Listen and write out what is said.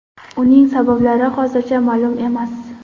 Uning sabablari hozircha ma’lum emas.